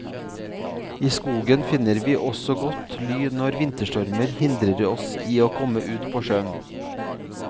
I skogen finner vi også godt ly når vinterstormer hindrer oss i å komme ut på sjøen.